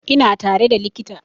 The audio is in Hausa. Ina tare da likita